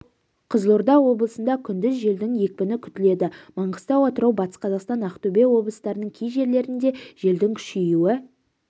қызылорда облысында күндіз желдің екпіні күтіледі маңғыстау атырау батыс қазақстан ақтөбе облыстарының кей жерлерінде желдің күшеюі